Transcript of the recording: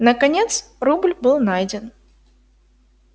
наконец рубль был найден